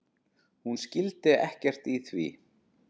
Hún skildi ekkert í því.